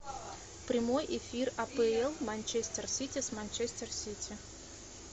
прямой эфир апл манчестер сити с манчестер сити